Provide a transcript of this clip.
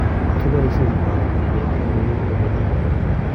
Kipoishe chetoriti ilet eng kout ak kelyek kora